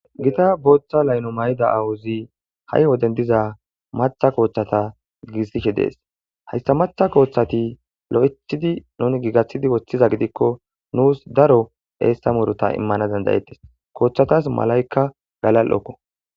Gita booththa laylo mayida aawozi ha'i woden diza maththa kooththeta giigisishe de'es. Hayssa maththa kooththati lo'ethidi nuni giigaththidi woththiza gidikko nuus daro eessa murota immana danda'ettes. Kooththatas malaykka galal'okko.